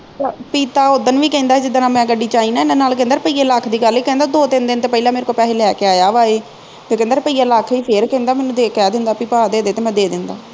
ਪੀਪਾ ਉਦਣ ਵੀ ਕਹਿੰਦਾ ਜਿਦਣ ਮੈਂ ਗੱਡੀ ਵਿਚ ਆਈ ਨਾ ਇਹਦੇ ਨਾਲ ਕਹਿੰਦਾ ਰੁਪਏ ਲੱਖ ਦੀ ਗੱਲ ਨਹੀਂ ਕਹਿੰਦਾ ਦੋ ਤਿੰਨ ਦਿਨ ਤੇ ਪਹਿਲਾ ਮੇਰੇ ਕੋਲੋਂ ਪੈਹੇ ਲੈ ਕੇ ਆਇਆ ਵ ਇਹ ਤੇ ਕਹਿੰਦਾ ਰੁਪਯਾ ਲੱਖ ਫਿਰ ਇਹ ਕਹਿੰਦਾ ਮੈਨੂੰ ਦੇ ਕਹਿ ਦਿੰਦਾ ਬਈ ਭਾ ਦੇ ਦੇ ਤੇ ਮੈਂ ਦੇ ਦਿੰਦਾ